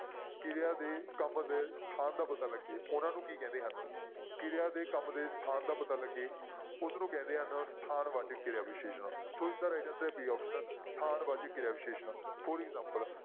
ਕਿਰਿਆ ਦੇ ਕੰਮ ਦੇ ਸਥਾਨ ਦਾ ਪਤਾ ਲੱਗੇ ਉਹਨਾਂ ਨੂੰ ਕੀ ਕਹਿੰਦੇ ਹਨ ਕਿਰਿਆ ਦੇ ਕੰਮ ਦੇ ਸਥਾਨ ਦਾ ਪਤਾ ਲੱਗੇ ਉਸਨੂੰ ਕਹਿੰਦੇ ਹਨ ਸਥਾਨ ਵਾਚਕ ਕਿਰਿਆ ਵਿਸ਼ੇਸ਼ਣ ਸੋ ਇਸਦਾ right answer ਹੈ b option ਸਥਾਨ ਵਾਚਕ ਕਿਰਿਆ ਵਿਸ਼ੇਸ਼ਣ for example